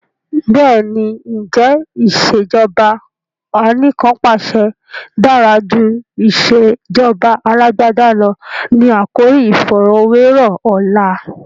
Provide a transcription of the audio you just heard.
Bẹ́ẹ̀ni, "ǹjẹ́ ìsèjọba anìkanpàṣẹ dára jù ìsèjọba Alàgbàda lọ? " ni àkòrí iìfọ̀rọ̀wẹ́rọ̀ ọ̀la.